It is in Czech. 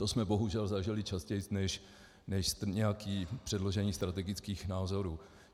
To jsme bohužel zažili častěji než nějaké předložení strategických názorů.